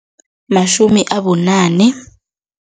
Matjhumi abunane.